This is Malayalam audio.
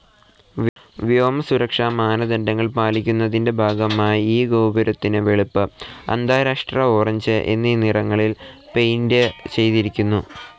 വ്യോമ സുരക്ഷാ മാനദണ്ഡങ്ങൾ പാലിക്കുന്നതിൻ്റെ ഭാഗമായി ഈ ഗോപുരത്തിന് വെളുപ്പ്, അന്താരഷ്ട്ര ഒറങ്ങേ എന്നീ നിറങ്ങളിൽ പെയിന്റ്‌ ചെയ്തിരിക്കുന്നു.